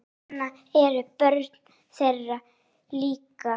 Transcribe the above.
Svona eru börnin þeirra líka.